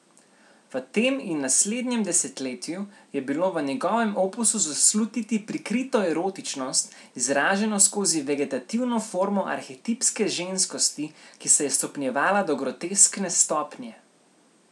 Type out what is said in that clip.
V tem in naslednjem desetletju je bilo v njegovem opusu zaslutiti prikrito erotičnost, izraženo skozi vegetativno formo arhetipske ženskosti, ki se je stopnjevala do groteskne stopnje.